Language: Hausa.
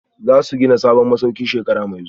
Za su gina sabon masauki a shekara mai zuwa